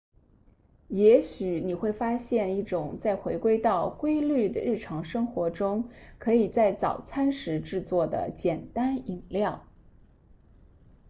也许你会发现一种在回归到规律的日常生活时可以在早餐时制作的简单饮料